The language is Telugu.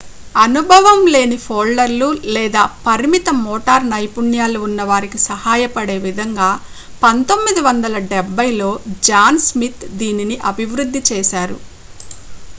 అనుభవం లేని ఫోల్డర్లు లేదా పరిమిత మోటార్ నైపుణ్యాలు ఉన్న వారికి సహాయపడే విధంగా 1970ల్లో జాన్ స్మిత్ దీనిని అభివృద్ధి చేశారు